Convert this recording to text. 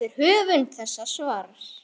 eftir höfund þessa svars.